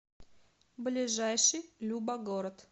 ближайший любо город